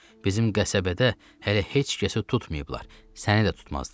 Bizim qəsəbədə hələ heç kəsi tutmayıblar, səni də tutmazlar.